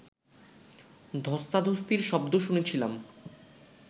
ধ্বস্তাধ্বস্তির শব্দ শুনেছিলাম